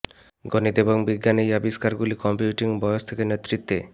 গণিত এবং বিজ্ঞান এই আবিষ্কারগুলি কম্পিউটিং বয়স থেকে নেতৃত্বে